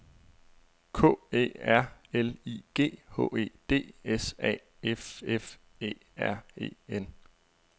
K Æ R L I G H E D S A F F Æ R E N